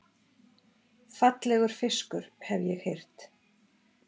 Fallegur fiskur, hef ég heyrt